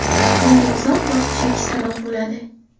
Bunga uzoq vaqt chekish sabab bo‘ladi.